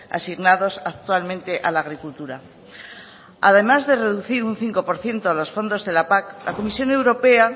asignados actualmente a la agricultura además de reducir un cinco por ciento los fondos de la pac la comisión europea